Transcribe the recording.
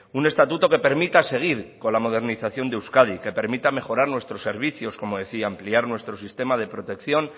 un estatuto que permita seguir con la modernización de euskadi que permita mejorar nuestro servicios como decía ampliar nuestro sistema de protección